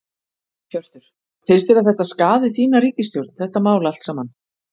Hjörtur: Finnst þér að þetta skaði þína ríkisstjórn, þetta mál allt saman?